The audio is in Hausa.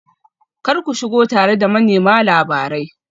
Kar ku shigo tare da manema labarai